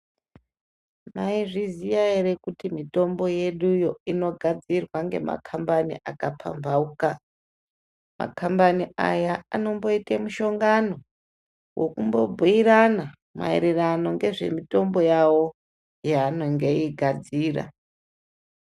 Mwaizviziya ere kuti mitombo yeduyo inogadzirwa ngemakhambani, akapamphauka. Makhambani aya anomboita mushongano, wekumbobhuirana maererano nezvemitombo yawo yaanenge eigadzira.